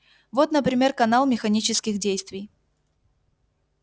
вот например канал механических действий